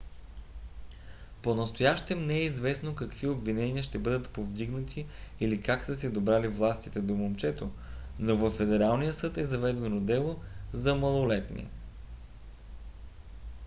понастоящем не е известно какви обвинения ще бъдат повдигнати или как са се добрали властите до момчето но във федералния съд е заведено дело за малолетни